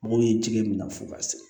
Mɔgɔw ye jɛgɛ minɛ fo ka se